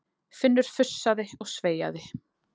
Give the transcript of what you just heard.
Finnur fussaði og sveiaði.